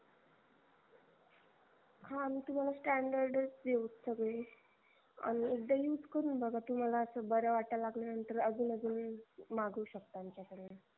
हा आम्ही तुम्हाला standard च देऊ सगळे अन एकदा use करून बघा तुम्हाला अस बर वाटायला लागल्या नंतर अजून अजून मागवू शकता आमच्याकडून